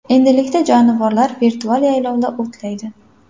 Endilikda jonivorlar virtual yaylovda o‘tlaydi.